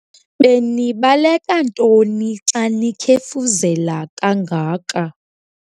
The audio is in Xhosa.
Benibaleka ntoni xa nikhefuzela kangaka?